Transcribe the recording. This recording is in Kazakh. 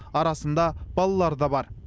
арасында балалар да бар